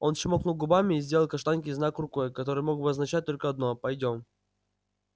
он чмокнул губами и сделал каштанке знак рукой который мог означать только одно пойдём